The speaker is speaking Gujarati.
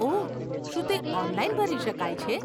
ઓહ, શું તે ઓનલાઈન ભરી શકાય છે?